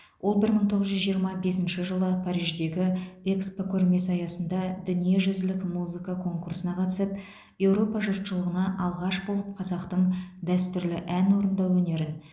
ол бір мың тоғыз жүз жиырма бесінші жылы париждегі экспо көрмесі аясында дүниежүзілік музыка конкурсына қатысып еуропа жұршылығына алғаш болып қазақтың дәстүрлі ән орындау өнерін